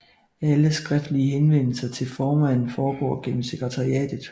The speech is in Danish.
Alle skriftlige henvendelser til formanden foregår gennem sekretariatet